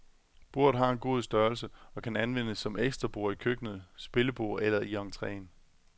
Bordet har en god størrelse og kan anvendes som ekstra bord i køkkenet, spillebord eller i entreen.